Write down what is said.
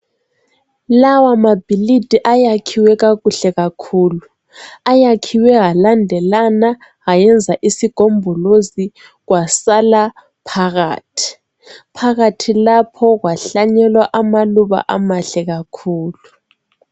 Lawamabhilidi ayakhiwe kakuhle kakhulu. Ayakhiwe alandelana ayenza isigombolozi kwasala phakathi. Phakathi lapho kwahlanyelwa amaluba amahle kakhulu.